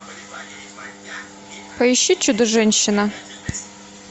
поищи чудо женщина